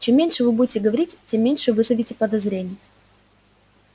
чем меньше вы будете говорить тем меньше вызовете подозрений